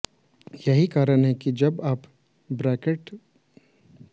यही कारण है कि जब आप ब्रेक पेडल गिरावट गति और इंजन रोकने प्रेस है